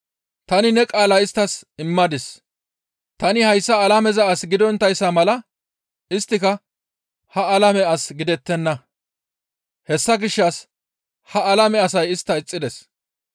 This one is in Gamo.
Tani ne qaalaa isttas immadis; tani hayssa alameza as gidonttayssa mala isttika ha alame as gidettenna; hessa gishshas ha alame asay istta ixxides.